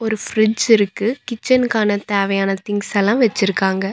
ஒரு பிரிட்ஜ் இருக்கு கிச்சன்க்கான தேவையான திங்ஸ்ஸெல்லா வெச்சிருக்காங்க.